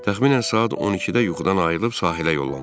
Təxminən saat 12-də yuxudan ayrılıb sahilə yollandıq.